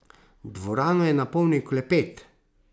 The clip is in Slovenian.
Dvorano je napolnil klepet.